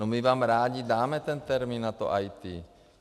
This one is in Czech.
No my vám rádi dáme ten termín na to IT.